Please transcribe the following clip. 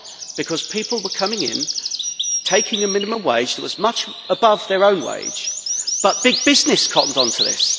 Because people were coming in, taking a minimum wage that was much above their own wage, but big business cottoned on to this.